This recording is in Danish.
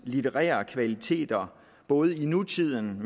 litterære kvaliteter i både nutiden